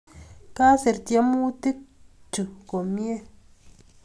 Kasir tyemutik chuk komnye